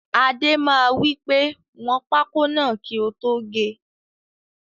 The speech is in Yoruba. Adé máa wípé 'wọn pákó náà kì o tó gé'